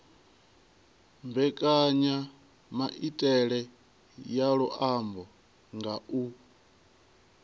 mbekanyamaitele ya luambo nga u